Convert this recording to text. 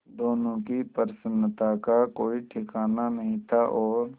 दोनों की प्रसन्नता का कोई ठिकाना नहीं था और